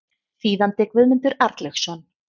Þýðandi Guðmundur Arnlaugsson.